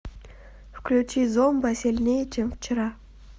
включи зомба сильнее чем вчера